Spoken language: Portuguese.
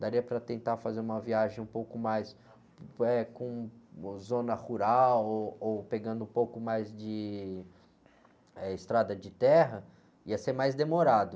daria para tentar fazer uma viagem um pouco mais, eh, com zona rural ou pegando um pouco mais de, eh, estrada de terra, ia ser mais demorado.